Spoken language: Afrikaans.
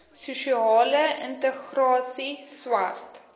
sosiale integrasie swart